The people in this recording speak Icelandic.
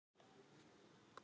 Tauta með sjálfri mér.